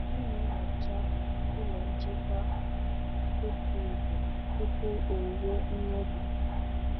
M na-enyocha ụlọ nchekwa otu izu tupu owuwe ihe ubi.